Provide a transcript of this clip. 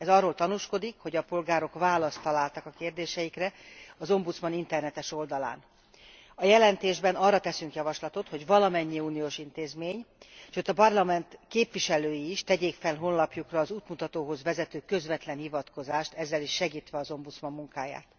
Ez arról tanúskodik, hogy a polgárok választ találtak a kérdéseikre az ombudsman internetes oldalán. A jelentésben arra teszünk javaslatot, hogy valamennyi uniós intézmény, sőt a parlament képviselői is tegyék fel honlapjukra az útmutatóra vezető közvetlen hivatkozást, ezzel is segítve az ombudsman munkáját.